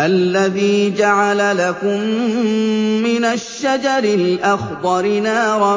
الَّذِي جَعَلَ لَكُم مِّنَ الشَّجَرِ الْأَخْضَرِ نَارًا